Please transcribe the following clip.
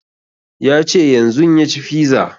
Ya ce yanzun ya ci fiza